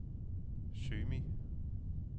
Symi